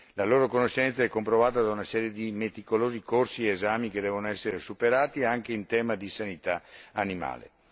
La loro conoscenza è comprovata da una serie di meticolosi corsi ed esami che devono essere superati anche in tema di sanità animale.